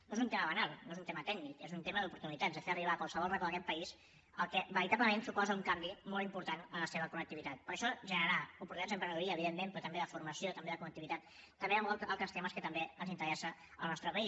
no és un tema banal no és tema tècnic és un tema d’oportunitats de fer arribar a qualsevol racó d’aquest país el que veritablement suposa un canvi molt important en la seva connectivitat perquè això generarà oportunitats d’emprenedoria evidentment però també de formació també de connectivitat també de molts altres temes que també interessen al nostre país